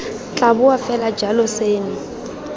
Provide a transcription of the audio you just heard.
tla boa fela jalo seno